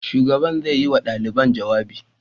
Shugaban zai yi wa ɗalibai jawabi.